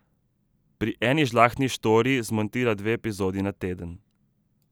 Pri Eni žlahtni štoriji zmontira dve epizodi na teden.